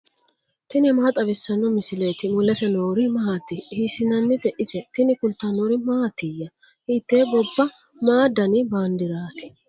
tini maa xawissanno misileeti ? mulese noori maati ? hiissinannite ise ? tini kultannori mattiya? hitte gobba ? Ma danni bandeerati?